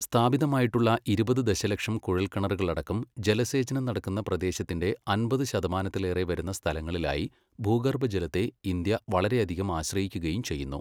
സ്ഥാപിതമായിട്ടുള്ള ഇരുപത് ദശലക്ഷം കുഴൽക്കിണറുകളടക്കം ജലസേചനം നടക്കുന്ന പ്രദേശത്തിൻ്റെ അമ്പത് ശതമാനത്തിലേറെ വരുന്ന സ്ഥലങ്ങളിലായി ഭൂഗർഭജലത്തെ ഇന്ത്യ വളരെയധികം ആശ്രയിക്കുകയും ചെയ്യുന്നു.